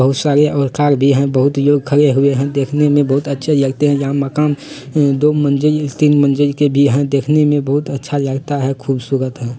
बहुत सारे और कार भी हैं। बहुत लोग खड़े हुए हैं। देखने में बहुत अच्छे लगते हैं। यहाँ मकान अ दो मंजिल तीन मंजिल के भी हैं। देखने में बहुत अच्छा लगता है खूबसूरत है।